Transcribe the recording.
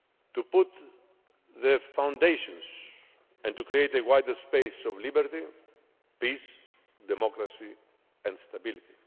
to lay the foundations and to create a wider space of liberty, peace, democracy and stability.